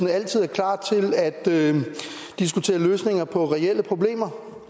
altid er klar til at diskutere løsninger på reelle problemer